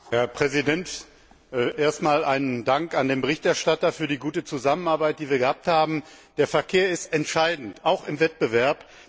Herr Präsident! Zuerst einmal Dank an den Berichterstatter für die gute Zusammenarbeit, die wir gehabt haben. Der Verkehr ist entscheidend auch im Wettbewerb.